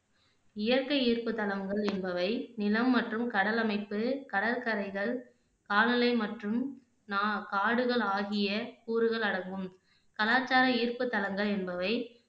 இயற்கை ஈர்ப்பு தலங்கள் என்பவை நிலம் மற்றும் கடல் அமைப்பு, கடற்கரைகள், காலநிலை மற்றும் நா காடுகள் ஆகிய கூறுகள் அடங்கும் கலாச்சார ஈர்ப்பு தலங்கள் என்பவை